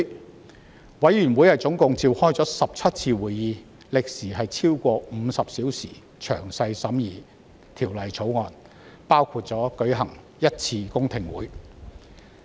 法案委員會總共召開17次會議，歷時超過50小時，詳細審議《條例草案》，也舉行了1次公聽會。